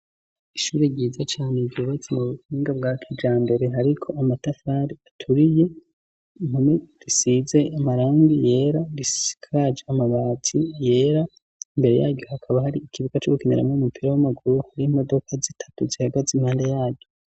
Ishuri ryiza cane ryubatse mu buhinga bwa kijambere hariko amatafari aturiye, impome zisize amarangi yera zisikage amabati yera imbere yaryo hakaba hari ikibuga cugukinaramwo umupira w'amaguru, hari imodoka zitatu zihagaze impande yaryo.